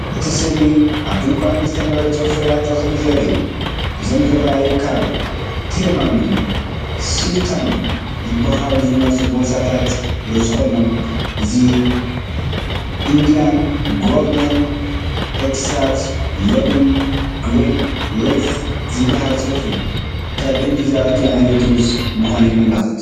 እቲ ስእሊ ኣብ ድኳን ዝተመርጹ ፍርያት እኽሊ ዘርኢ እዩ። እዞም ዝረኣዩ ካብ “ቴማም”ን “ሱልታን”ን ዝበሃሉ ዝመጹ ቦርሳታት ሩዝ ኮይኖም። እዚ “ኢንድያን ጎልደን ኤክስትራ ሎንግ ግሪን ሪዝ” ዝብል ጽሑፍ እዩ። ካብ ህንዲ ዝኣቱ ዓይነት ሩዝ ምዃኑ የመልክት።